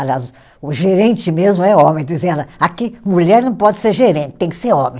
Aliás, o gerente mesmo é homem, dizia ela, aqui mulher não pode ser gerente, tem que ser homem.